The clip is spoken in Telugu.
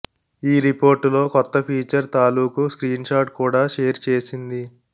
ఈ రిపోర్టులో కొత్త ఫీచర్ తాలుకూ స్క్రీన్ షాట్ కూడా షేర్ చేసింది